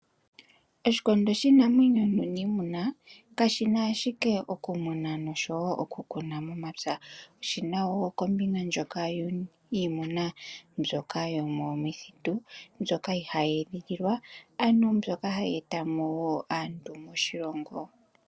Oshikondo shiinamwenyo nuunimuna kashina ashike okumuna nosho wo okukuna momapya , oshi na wo kombinga ndjoka yiimuna mbyoka yomomithitu, mbyoka ihayi edhililwa ano mbyoka hayi eta mo aantu moshilongo.